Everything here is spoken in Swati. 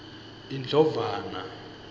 indlovana